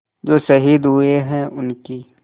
जो शहीद हुए हैं उनकी